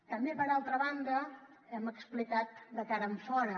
també per altra banda ho hem explicat de cara enfora